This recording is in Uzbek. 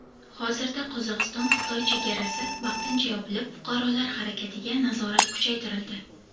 Hozirda Qozog‘istonXitoy chegarasi vaqtincha yopilib, fuqarolar harakatiga nazorat kuchaytirildi.